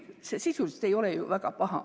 See sisuliselt ei ole ju väga paha.